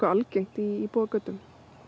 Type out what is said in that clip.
algengt í íbúðagötum